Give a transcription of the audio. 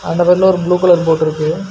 அந்த பக்கத்தில ஒரு ப்ளூ கலர் போட் இருக்கு.